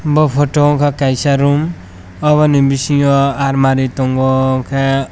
bo photo o unka kaisa room omo ni bisingo almari tongo enke.